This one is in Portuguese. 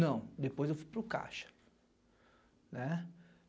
Não, depois eu fui para o Caixa.